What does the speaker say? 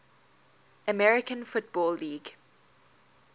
american football league